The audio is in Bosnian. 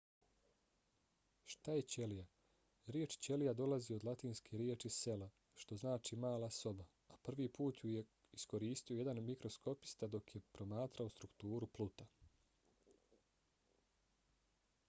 šta je ćelija? riječ ćelija dolazi od latinske riječi cella što znači mala soba a prvi put ju je iskoristio jedan mikroskopista dok je promatrao strukturu pluta